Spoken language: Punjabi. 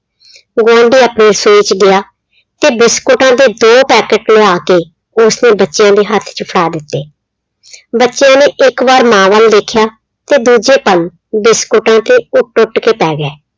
ਗੁਆਂਢੀ ਆਪਣੀ ਰਸੋਈ ਚ ਗਿਆ ਤੇ biscuits ਦੇ ਦੋ ਪੈਕਟ ਲਿਆ ਕੇ, ਉਸਨੇ ਬੱਚਿਆਂ ਦੇ ਹੱਥ ਚ ਫੜਾ ਦਿੱਤੇ। ਬੱਚਿਆਂ ਨੇ ਇੱਕ ਵਾਰ ਮਾਂ ਵੱਲ ਦੇਖਿਆ ਤੇ ਦੂਜੇ ਪਲ biscuits ਤੇ ਉਹ ਟੁੱਟ ਕੇ ਪੈ ਗਏ।